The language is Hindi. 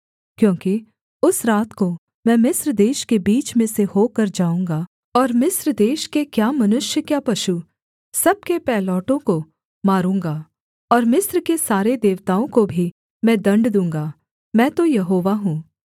क्योंकि उस रात को मैं मिस्र देश के बीच में से होकर जाऊँगा और मिस्र देश के क्या मनुष्य क्या पशु सब के पहिलौठों को मारूँगा और मिस्र के सारे देवताओं को भी मैं दण्ड दूँगा मैं तो यहोवा हूँ